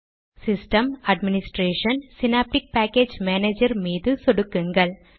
ஸிஸ்டம்gt administration ஜிடி synaptic package manager மீது சொடுக்குங்கள்